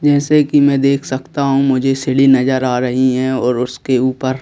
जैसे कि मैं देख सकता हूं मुझे सीढ़ी नजर आ रही है और उसके ऊपर--